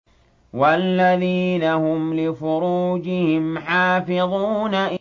وَالَّذِينَ هُمْ لِفُرُوجِهِمْ حَافِظُونَ